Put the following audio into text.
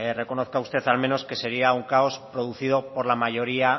reconozca usted al menos que sería un caos producido por la mayoría